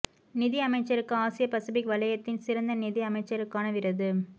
நிதி அமைச்சருக்கு ஆசிய பசுபிக் வளையத்தின் சிறந்த நிதி அமைச்சருக்கான விருது